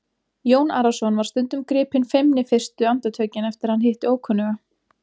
Jón Arason var stundum gripinn feimni fyrstu andartökin eftir að hann hitti ókunnuga.